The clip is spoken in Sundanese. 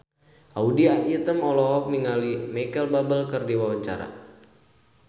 Audy Item olohok ningali Micheal Bubble keur diwawancara